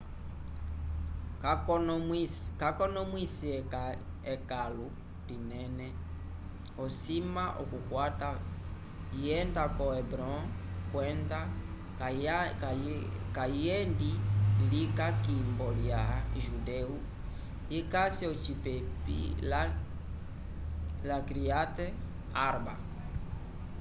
k'akonomwise ekãlu linene osima okukwata yenda ko hebron kwenda kayendi lika k'imbo lya judeu ikasi ocipepi lya kiryat arba